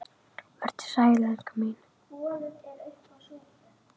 Vertu sæl, elskan mín.